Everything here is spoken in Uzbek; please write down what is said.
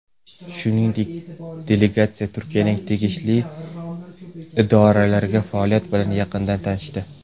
Shuningdek, delegatsiya Turkiyaning tegishli idoralarining faoliyati bilan yaqindan tanishdi.